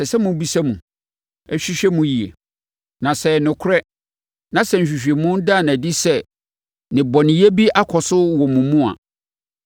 ɛsɛ sɛ mobisa mu, hwehwɛ mu yie. Na sɛ ɛyɛ nokorɛ na sɛ nhwehwɛmu ada no adi sɛ nnebɔneyɛ bi akɔ so wɔ mo mu a,